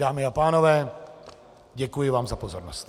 Dámy a pánové, děkuji vám za pozornost.